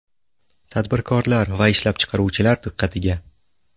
Tadbirkorlar va ishlab chiqaruvchilar diqqatiga!.